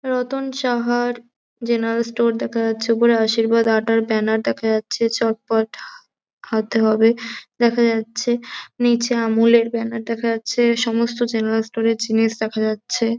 রতন শাহার general store দেখা যাচ্ছে। ওপরে আশীর্বাদ আটার ব্যানার দেখা যাচ্ছে চটপট হাতে হবে দেখা যাচ্ছে। নীচে আমুল -এর ব্যানার দেখা যাচ্ছে। সমস্ত জেনারেল স্টোর -এর জিনিস দেখা যাচ্ছে।